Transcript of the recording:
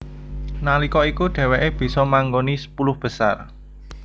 Nalika iku dheweké bisa manggoni sepuluh besar